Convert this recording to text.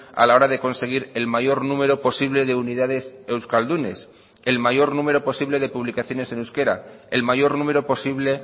a la hora de conseguir el mayor número posible de unidades euskaldunes el mayor número posible de publicaciones en euskera el mayor número posible